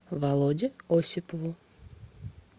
володе осипову